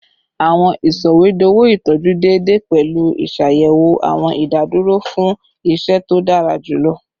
Awọn sọwedowo itọju deede pẹlu iṣayẹwo awọn idaduro fun iṣẹ to dara julọ